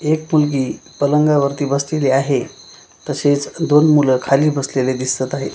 एक मुलगी पलंगावर ती बसलेली आहे तसेच दोन मुलं खाली बसलेले दिसत आहे.